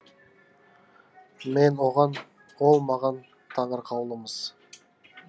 мен оған ол маған таңырқаулымыз